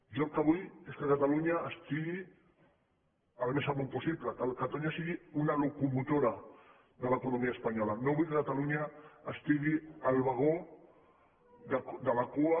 jo el que vull és que catalunya estigui al més amunt possible que catalunya sigui una locomotora de l’economia espanyola no vull que catalunya estigui al vagó de la cua